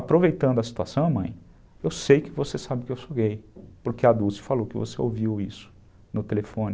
Aproveitando a situação, mãe, eu sei que você sabe que eu sou gay, porque a Dulce falou que você ouviu isso no telefone.